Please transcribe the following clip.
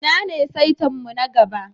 Inna ne saita'n mu na gaba?